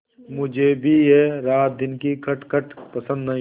मुझे भी यह रातदिन की खटखट पसंद नहीं